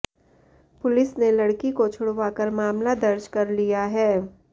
police ने लड़की को छुड़वाकर मामला दर्ज कर लिया है